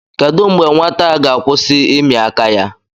Kedụ mgbe nwata a ga-akwụsị ịmị aka ya